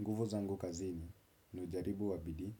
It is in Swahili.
Nguvu zangu kazini ni ujaribu wa bidii,